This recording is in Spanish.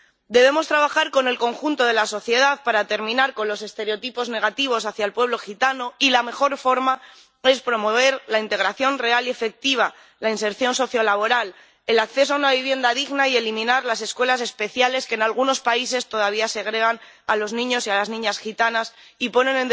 Debemos trabajar con el conjunto de la sociedad para terminar con los estereotipos negativos hacia el pueblo gitano, y la mejor forma es promover la integración real y efectiva, la inserción sociolaboral y el acceso a una vivienda digna y eliminar las escuelas especiales, que en algunos países todavía segregan a las niñas y a los niños gitanos y ponen